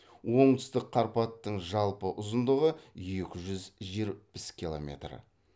оңтүстік қарпаттың жалпы ұзындығы екі жүз жетпіс километр